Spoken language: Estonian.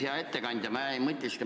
Hea ettekandja!